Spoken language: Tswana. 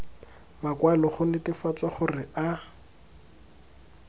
makwalo go netefatsa gore a